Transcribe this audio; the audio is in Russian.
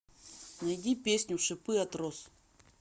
найди песню шипы от роз